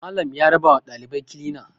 Malam ya rabawa ɗalibai kilina